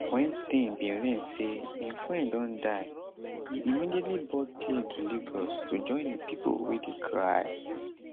wen stein bin learn say im friend don die e immediately board plane to lagos to join di pipo wey dey cry